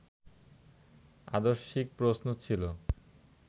আদর্শিক প্রশ্ন ছিল